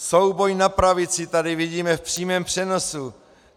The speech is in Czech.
Souboj na pravici tady vidíme v přímém přenosu!